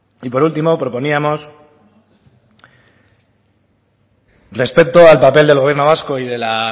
y por último proponíamos respecto al papel del gobierno vasco y de la